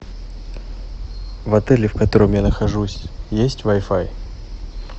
в отеле в котором я нахожусь есть вай фай